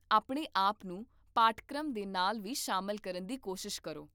ਆਪਣੇ ਆਪ ਨੂੰ ਪਾਠਕ੍ਰਮ ਦੇ ਨਾਲ ਵੀ ਸ਼ਾਮਲ ਕਰਨ ਦੀ ਕੋਸ਼ਿਸ਼ ਕਰੋ